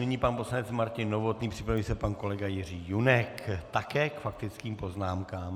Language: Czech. Nyní pan poslanec Martin Novotný, připraví se pan kolega Jiří Junek, také k faktickým poznámkám.